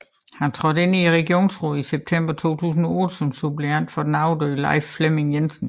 Han trådte ind i regionsrådet i september 2008 som suppleant for den afdøde Leif Flemming Jensen